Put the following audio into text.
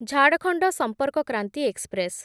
Jharkhand Sampark Kranti express